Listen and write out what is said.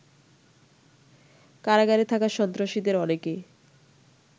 কারাগারে থাকা সন্ত্রাসীদের অনেকে